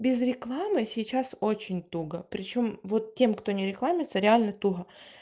без рекламы сейчас очень туго причём вот тем кто не рекламится реально туго